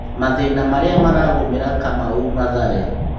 Mathĩna marĩa maragũmĩra Kamau Mathare.